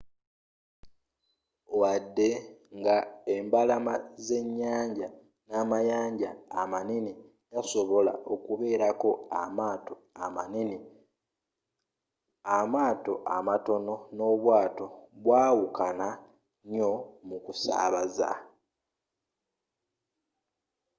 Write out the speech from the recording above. wadde nga embalama zenyanja n'amayanja amanene gasobola okubeerako amaato amanene amato amatono n'obwaato bwawukana nyo mukusaabaza